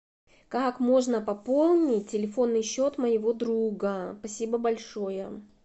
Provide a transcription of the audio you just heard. как можно пополнить телефонный счет моего друга спасибо большое